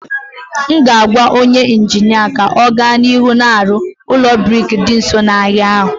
M ga-agwa onye injinia ka ọ gaa n'ihu na-arụ ụlọ brik dị nso n'ahịa ahụ